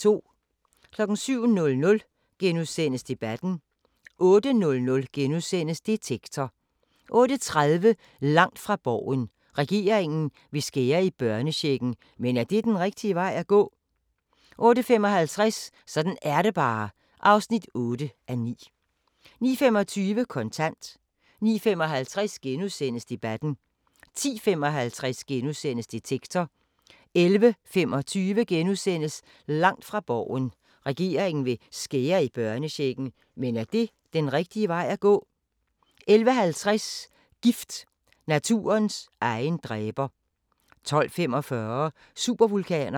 07:00: Debatten * 08:00: Detektor * 08:30: Langt fra Borgen: Regeringen vil skære i børnechecken, men er det den rigtige vej at gå? 08:55: Sådan er det bare (8:9) 09:25: Kontant 09:55: Debatten * 10:55: Detektor * 11:25: Langt fra Borgen: Regeringen vil skære i børnechecken, men er det den rigtige vej at gå? * 11:50: Gift – naturens egen dræber 12:45: Supervulkaner